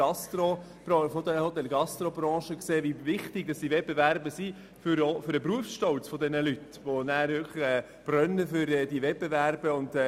Auch anhand der Gastrobranche sieht man, wie wichtig diese Wettbewerbe für den Berufsstolz dieser Leute sind und wie letztere für diese Wettbewerbe brennen.